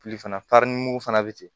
Fili fana fana bɛ ten